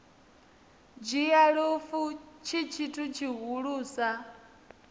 dzhia lufu tshi tshithu tshihulusa